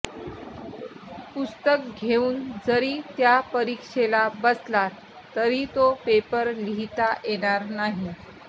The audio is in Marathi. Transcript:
पुस्तक घेऊन जरी त्या परीक्षेला बसलात तरी तो पेपर लिहिता येणार नाही